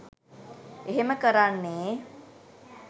එහෙම කරන්නේ